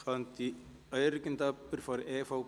Könnte irgendjemand von der EVP